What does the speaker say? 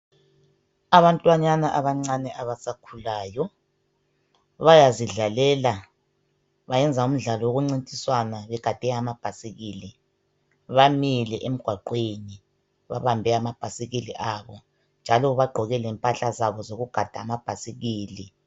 Abantwanyana abancane abasakhulayo bayazidlalela bayenza umdlalo wokuncintiswana begade amabhasikili. Bamile emgwaqweni babambe amabhasikili abo njalo bagqoke lempahla zabo zokugada amabhasikili.